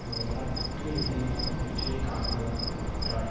ஒரு வராலாற்றுரீதியான வெற்றியை காணவுள்ளதாகவும் குறிப்பிட்டார்